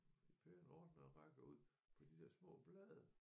I pæne ordnede rækker ud på de der små blade